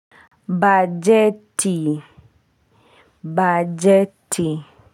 Bajeti bajeti.